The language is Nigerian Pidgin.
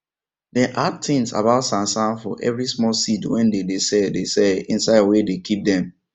dem add tins about sansan for everi small seed wey dem dey sell dey sell insid wia dey keep dem